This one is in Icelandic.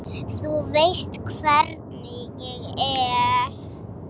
Þú veist hvernig ég er.